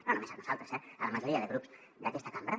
no només a nosaltres eh a la majoria de grups d’aquesta cambra